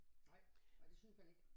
Nej og det synes man ikke